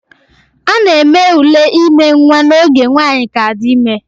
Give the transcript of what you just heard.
A na-eme ule ime nwa n'oge nwanyi ka di ime